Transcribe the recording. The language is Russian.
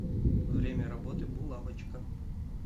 время работы булавочка